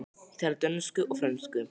Ég tala dönsku og frönsku.